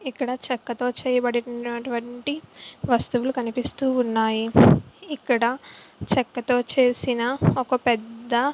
ఇక్కడ చెక్ తో చేయబడనవి వస్తువులు కనిపిస్తున్నాయి. ఇక్కడ చెక్క తో చేసిన ఒక పెద్ద --